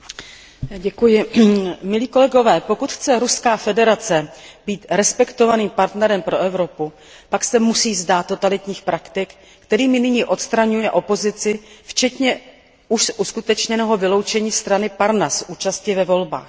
Paní vysoká představitelko, pokud chce Ruská federace být respektovaným partnerem pro Evropu, pak se musí vzdát totalitních praktik, kterými nyní odstraňuje opozici včetně už uskutečněného vyloučení strany Parnas z účasti ve volbách.